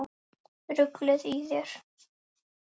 Ruglið í þér!